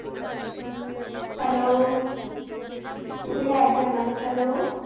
hello कुठे गायप झालात हॅलो